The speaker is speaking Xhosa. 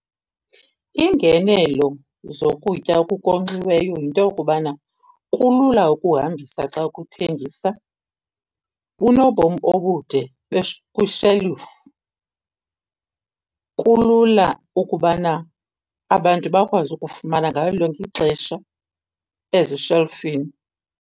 Iingenelo zokutya okukonkxiweyo yinto yokubana kulula ukuhambisa xa ukuthengisa, bunobomi obude kwishelufu, kulula ukubana abantu bakwazi ukufumana ngalo lonke ixesha ezishelfini.